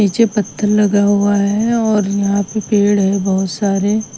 नीचे पत्थर लगा हुआ है और यहां पे पेड़ है बहुत सारे।